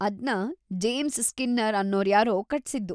ಅದ್ನ James Skinner ಅನ್ನೋರ್ಯಾರೋ ಕಟ್ಸಿದ್ದು.